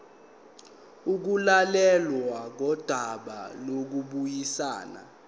ukulalelwa kodaba lokubuyisana